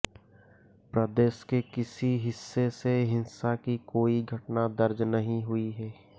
प्रदेश के किसी हिस्से से हिंसा की कोई घटना दर्ज नहीं हुई है